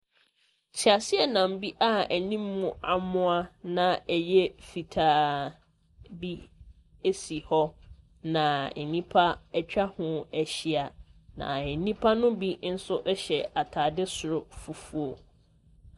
Teaseɛnam bi a anim amoa, na ɛyɛ fitaa bi si hɔ, na nnipa atwa ho ahyia, na nnipa no bi nso hyɛ atade soro fufuo.